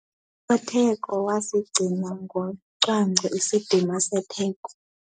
Usotheko wasigcina ngocwangco isidima setheko.